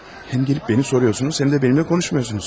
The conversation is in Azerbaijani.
Həm gəlib məni soruyorsunuz, həm də mənlə konuşmuyorsunuz.